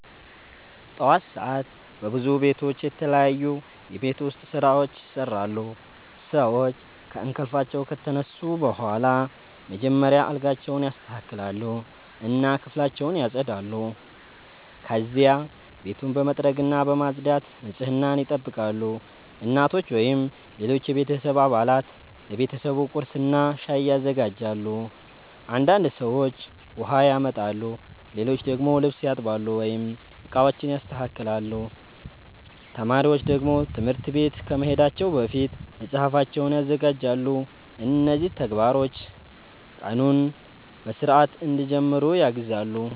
ጠዋት ሰዓት በብዙ ቤቶች የተለያዩ የቤት ውስጥ ስራዎች ይሰራሉ። ሰዎች ከእንቅልፋቸው ከተነሱ በኋላ መጀመሪያ አልጋቸውን ያስተካክላሉ እና ክፍላቸውን ያጸዳሉ። ከዚያ ቤቱን በመጥረግና በማጽዳት ንጽህናን ይጠብቃሉ። እናቶች ወይም ሌሎች የቤተሰብ አባላት ለቤተሰቡ ቁርስና ሻይ ያዘጋጃሉ። አንዳንድ ሰዎች ውሃ ያመጣሉ፣ ሌሎች ደግሞ ልብስ ያጥባሉ ወይም ዕቃዎችን ያስተካክላሉ። ተማሪዎች ደግሞ ትምህርት ቤት ከመሄዳቸው በፊት መጽሐፋቸውን ያዘጋጃሉ። እነዚህ ተግባሮች ቀኑን በሥርዓት እንዲጀምሩ ያግዛሉ።